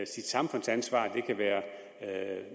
sit samfundsansvar det kan være